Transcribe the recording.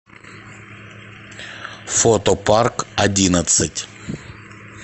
фото парк одиннадцать